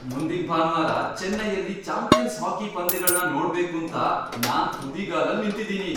ಮುಂದಿನ್ ಭಾನ್ವಾರ ಚೆನ್ನೈಯಲ್ಲಿ ಚಾಂಪಿಯನ್ಸ್ ಹಾಕಿ ಪಂದ್ಯಗಳ್ನ ನೋಡ್ಬೇಕೂಂತ ನಾನ್ ತುದಿಗಾಲಲ್ಲ್ ನಿಂತಿದೀನಿ.